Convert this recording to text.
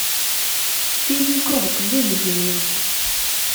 фильм крот выведи мне